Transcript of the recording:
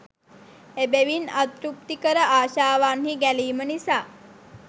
එබැවින් අතෘප්තිකර ආශාවන්හි ගැලීම නිසා